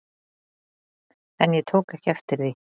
En ég tók ekki eftir því.